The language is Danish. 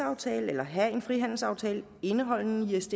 aftale eller have en frihandelsaftale indeholdende isds